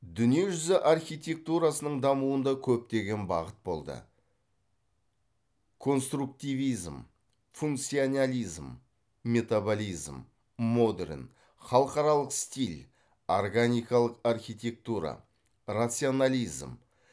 дүние жүзі архитектурасының дамуында көптеген бағыт болды конструктивизм функционализм метаболизм модерн халықаралық стиль органикалық архитектура рационализм